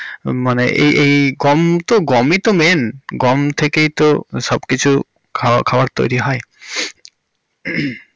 মানে এই~ এই গম তো গমিই তো main গম থেকেই তো সব কিছু খাবার~ খাবার তৈরী হয়. হমমম।